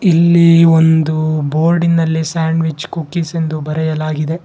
ಇಲ್ಲಿ ಒಂದು ಬೋರ್ಡಿನಲ್ಲಿ ಸ್ಯಾಂಡವಿಚ್ ಕುಕೀಸ್ ಎಂದು ಬರೆಯಲಾಗಿದೆ.